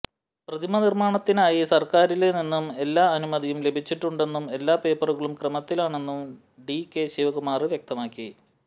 പ്രതിമ നിര്മാണത്തിനായി സര്ക്കാരില് നിന്നും എല്ലാ അനുമതിയും ലഭിച്ചിട്ടുണ്ടെന്നും എല്ലാ പേപ്പറുകളും ക്രമത്തിലാണെന്നും ഡി കെ ശിവകുമാര് വ്യക്തമാക്കി